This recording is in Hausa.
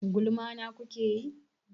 Gulma na kuke yi?